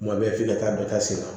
Kuma bɛɛ f'i ka taa dɔ ta seman